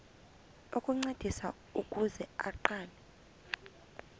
ukuncediswa ukuze aqale